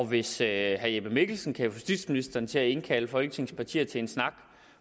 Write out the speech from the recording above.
hvis herre jeppe mikkelsen kan få justitsministeren til at indkalde folketingets partier til en snak